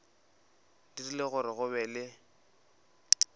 dirile gore go be le